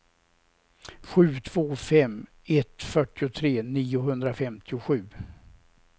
sju två fem ett fyrtiotre niohundrafemtiosju